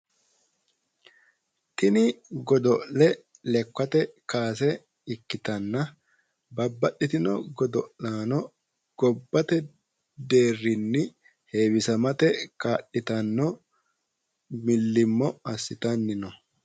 Tini godo'le lekkate kaase ikkitanna babbaxitino godo'laano gobbate deerrinni heewisamate kaa'litanno millimmo assitanni no.